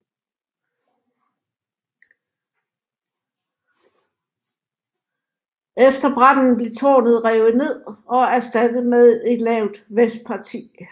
Efter branden blev tårnet revet ned og erstattet med et lavt vestparti